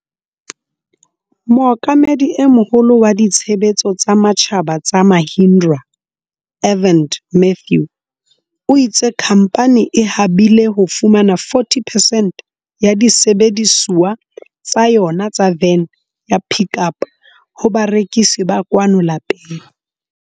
Mookamedi e Moholo wa Ditshebetso tsa Matjhaba tsa Mahindra, Arvind Matthew, o itse khamphane e habile ho fumana 40 percent ya disebedisuwa tsa yona tsa vene ya Pik Up ho barekisi ba kwano lapeng.